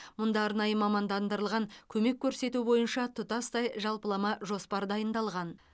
мұнда арнайы мамандандырылған көмек көрсету бойынша тұтастай жалпылама жоспар дайындалған